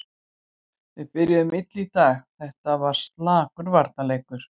Við byrjuðum illa í dag, þetta var slakur varnarleikur.